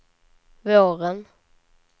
våren